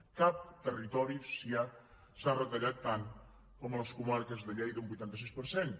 a cap territori s’ha retallat tant com a les comarques de lleida un vuitanta sis per cent